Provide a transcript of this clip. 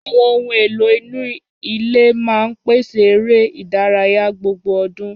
Àwọn ohun èlò inú ilé máa ń pèsè eré ìdárayá gbogbo ọdún.